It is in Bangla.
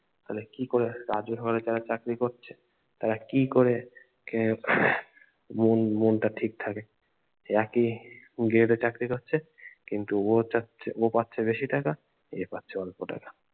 তাহলে কি করে রাজ্য সরকারের যারা চাকরি করছে তারা কি করে এ আহ মন মনটা ঠিক থাকে একই grade এ চাকরি করছে কিন্ত ও চাচ্ছে ও পাচ্ছে বেশি টাকা এ পাচ্ছে অল্প টাকা